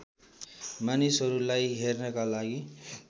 मानिसहरूलाई हेर्नका लागि